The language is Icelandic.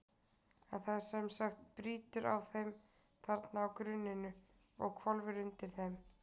En það sem sagt brýtur á þeim þarna á grunninu og hvolfir undir þeim.